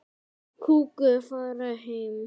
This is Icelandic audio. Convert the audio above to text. Fara heim?